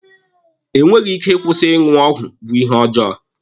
Enweghị ike ịkwụsị ịṅụ ọgwụ bụ ihe ọjọọ.